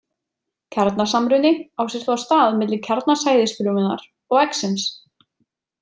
Kjarnasamruni á sér þá stað milli kjarna sæðisfrumunnar og eggsins.